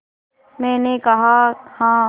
मैंने कहा हाँ